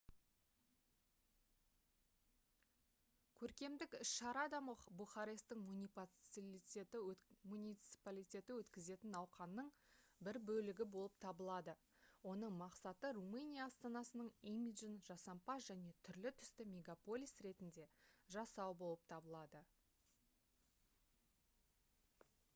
көркемдік іс-шара да бухаресттің муниципалитеті өткізетін науқанның бір бөлігі болып табылады оның мақсаты румыния астанасының имиджін жасампаз және түрлі-түсті мегаполис ретінде жасау болып табылады